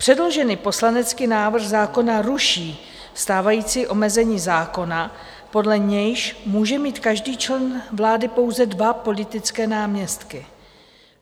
Předložený poslanecký návrh zákona ruší stávající omezení zákona, podle nějž může mít každý člen vlády pouze dva politické náměstky.